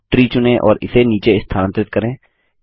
अब ट्री चुनें और इसे नीचे स्थानांतरित करें